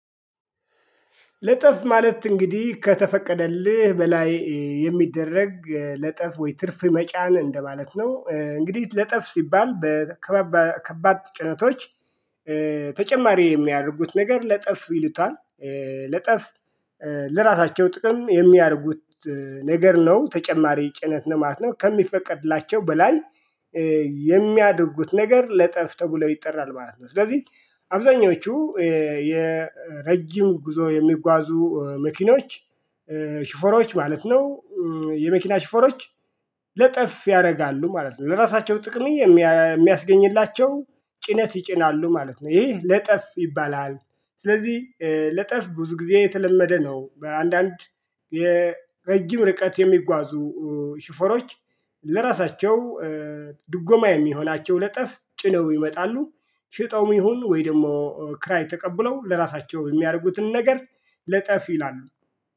ለጠፍ ማለት እንግዲህ ከተፈቀደልህ በላይ የሚደረግ ለጠፍ ወይ ትርፍ መጫን እንደማለት ነው። እንግዲህ ለጠፍ ሲባል ከባድ ጭነቶች ተጨማሪ የሚያደርጉት ነገር ለጠፍ ይሉታል። ለጠፍ ለራሳቸው ጥቅም የሚያደርጉት ነገር ነው ተጨማሪ ጭነት ነው ማለት ነው። ከሚፈቀድላቸው በላይ የሚያደርጉት ነገር ለጠፍ ተብሎ ይጠራል ማለት ነው። ስለዚህ አብዛኞቹ የረጅም ጉዞ የሚጓዙ መኪኖች ሽፈሮች ማለት ነው። የመኪና ሽፈሮች ለጠፍ ያደርጋሉ ማለት ነው ለራሳቸው ጥቅም የሚያስገኝላቸው ጭነት ይጭናሉ ማለት ነው። ይህ ለጠፍ ይባላል። ስለዚህ ለጠፍ ብዙ ጊዜ የተለመደ ነው። በአንዳንድ የረጅም ርቀት የሚጓዙ ሹፌሮች ለራሳቸው ድጎማ የሚሆናቸው ለጠፍ ጭነው ይመጣሉ ሽጠውም ይሁን ወይ ደግሞ ክራይ ተቀብለው ለራሳቸው በሚያደርጉትን ነገር ለጠፍ ይላሉ